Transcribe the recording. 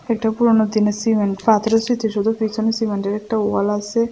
একটা পুরোনো দিনের সিমেন্ট পাথরের স্মৃতি সৌধ পিছনে সিমেন্টের একটা ওয়াল আসে।